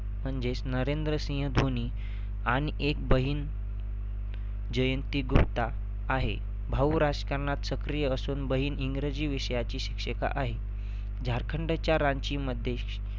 म्हणजेच नरेंद्रसिंह धोनी आणि एक बहिण जयंती गुप्ता आहे. भाऊ राजकारणात सक्रिय असून बहिण इंग्रजी विषयाची शिक्षिका आहे. झारखंडच्या रांचीमध्ये